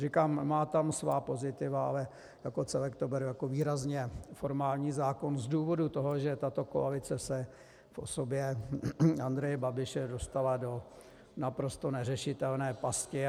Říkám, má tam svá pozitiva, ale jako celek to beru jako výrazně formální zákon z důvodu toho, že tato koalice se v osobě Andreje Babiše dostala do naprosto neřešitelné pasti.